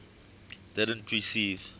didn t receive